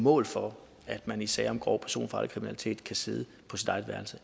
mål for at man i sager om grov personfarlig kriminalitet kan sidde på sit eget værelse